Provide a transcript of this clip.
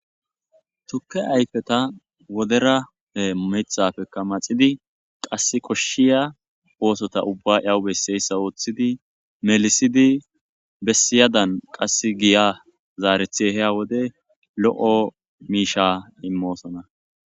Tukke ayfeta wodera mithaafekka maxidi qassi koshshiya oosota ubbaa iyawu besseyssa ooththidi melisidi bessiyadan qassi giya zaarethi ehiya wode lo7o miisha immoosona.